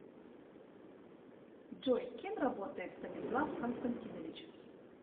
джой кем работает станислав константинович